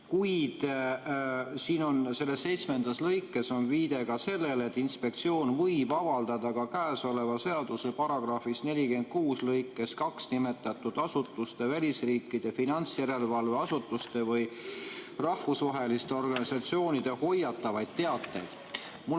Kuid selle seitsmendas lõikes on öeldud: "Inspektsioon võib avaldada ka käesoleva seaduse § 46 lõikes 2 nimetatud asutuste, välisriikide finantsjärelevalve asutuste või rahvusvaheliste organisatsioonide hoiatavaid teateid.